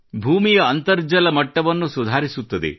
ಭೂಮಿಯ ಅಂತರ್ಜಲ ಮಟ್ಟವನ್ನು ಸುಧಾರಿಸುತ್ತದೆ